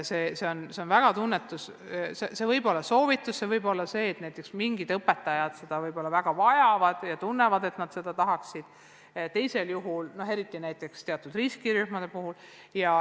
See on väga tunnetuslik ja see võib olla soovitus, näiteks mingid õpetajad võib-olla väga vajavad seda ja tunnevad, et nad tahaksid seda, eriti teatud riskirühmade puhul.